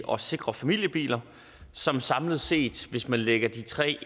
og sikre familiebiler som samlet set hvis man lægger de tre